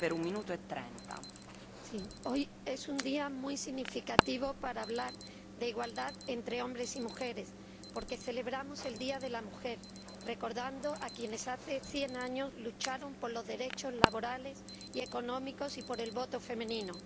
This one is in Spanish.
Señora Presidenta, hoy es un día muy significativo para hablar de igualdad entre hombres y mujeres porque celebramos el Día Internacional de la Mujer recordando a quienes hace 100 años lucharon por los derechos laborales y económicos y por el voto femenino.